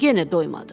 Yenə doymadı.